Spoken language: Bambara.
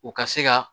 U ka se ka